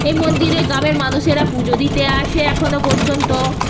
এ মন্দিরে গ্রামের মানুষেরা পুজো দিতে আসে এখনো পর্যন্ত ও --